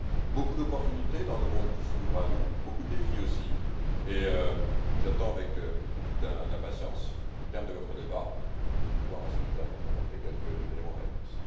crucial. Beaucoup d'opportunités dans le monde qui s'ouvre à nous, beaucoup de défis aussi, et j'attends avec beaucoup d'impatience les termes de votre débat pour pouvoir ensuite y apporter quelques éléments de réponse.